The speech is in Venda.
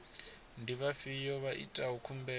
ndi vhafhiyo vha itaho khumbelo